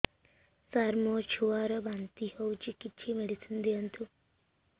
ସାର ମୋର ଛୁଆ ର ବାନ୍ତି ହଉଚି କିଛି ମେଡିସିନ ଦିଅନ୍ତୁ